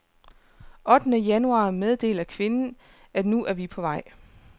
Ottende januar meddeler kvinden, at nu er vi på vej.